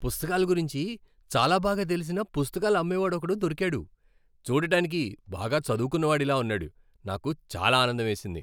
పుస్తకాల గురించి చాలా బాగా తెలిసిన పుస్తకాలు అమ్మేవాడు ఒకడు దొరికాడు. చూడటానికి బాగా చదువుకున్నవాడిలా ఉన్నాడు. నాకు చాలా ఆనందం వేసింది.